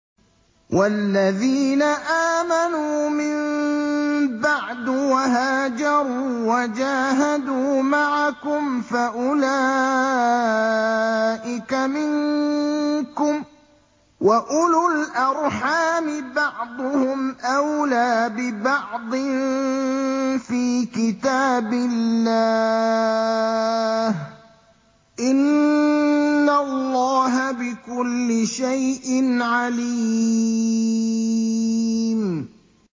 وَالَّذِينَ آمَنُوا مِن بَعْدُ وَهَاجَرُوا وَجَاهَدُوا مَعَكُمْ فَأُولَٰئِكَ مِنكُمْ ۚ وَأُولُو الْأَرْحَامِ بَعْضُهُمْ أَوْلَىٰ بِبَعْضٍ فِي كِتَابِ اللَّهِ ۗ إِنَّ اللَّهَ بِكُلِّ شَيْءٍ عَلِيمٌ